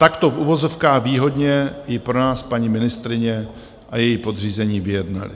Takto v uvozovkách výhodně ji pro nás paní ministryně a její podřízení vyjednali.